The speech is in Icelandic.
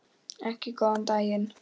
Ekki góðan daginn.